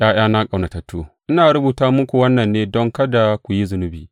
’Ya’yana ƙaunatattu, ina rubuta muku wannan ne don kada ku yi zunubi.